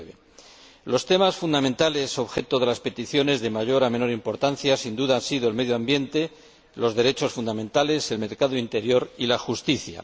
2009. Los temas fundamentales objeto de las peticiones, de mayor a menor importancia, han sido sin dua el medio ambiente, los derechos fundamentales, el mercado interior y la justicia.